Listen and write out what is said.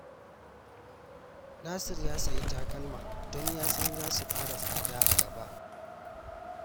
Nasir ya sayi takalma don ya san za su ƙara tsada a gaba